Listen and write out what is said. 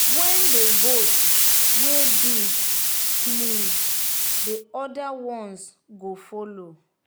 when d goat wey big sneez the other ones go follow.